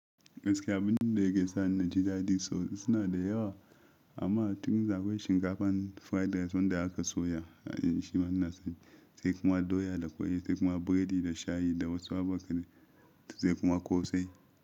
Gaskiya abinda yake sa na jidadi duk suna da yawa amma tuni za ku yi shinkafa, fried rice wanda haka soya, shi ma na sa, sai kuma doya da ƙwai, sai kuma burodi da shayi da wasu abokanai, sai kuma ƙosai.